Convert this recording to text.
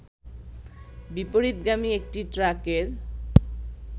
বিপরীতগামী একটি ট্রাকের